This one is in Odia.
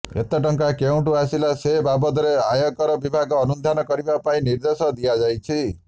ଏତେ ଟଙ୍କା କେଉଁଠୁ ଆସିଲା ସେ ବାବଦରେ ଆୟକର ବିଭାଗ ଅନୁଧ୍ୟାନ କରିବା ପାଇଁ ନିର୍ଦ୍ଦେଶ ଦିଆଯାଇଛି